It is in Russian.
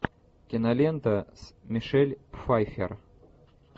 кинолента с мишель пфайффер